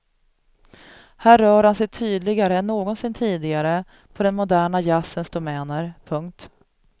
Här rör han sig tydligare än någonsin tidigare på den moderna jazzens domäner. punkt